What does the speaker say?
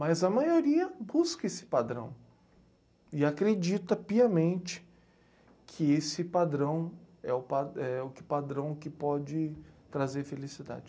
Mas a maioria busca esse padrão e acredita piamente que esse padrão é o pa é o que padrão que pode trazer felicidade.